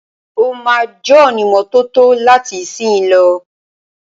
Ó ma jónímọ́tótó láti ìsìnyí lọ.